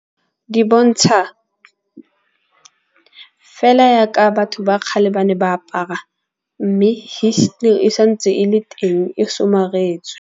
Di bontsha fela yaka batho ba kgale ba ne ba apara. Mme histori e santse e le teng e somaretswe.